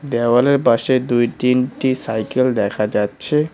দেওয়ালের পাশে দুই তিনটি সাইকেল দেখা যাচ্ছে।